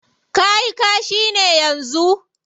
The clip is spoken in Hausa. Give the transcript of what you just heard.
Ka yi kashi ne yanzu?